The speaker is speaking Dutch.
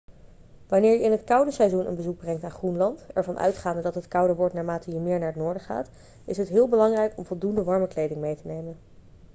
wanneer je in het koude seizoen een bezoek brengt aan groenland ervan uitgaande dat het kouder wordt naarmate je meer naar het noorden gaat is het heel belangrijk om voldoende warme kleding mee te nemen